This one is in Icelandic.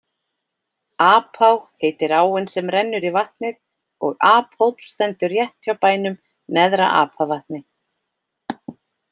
Apá heitir áin sem rennur í vatnið og Aphóll stendur rétt hjá bænum Neðra-Apavatni.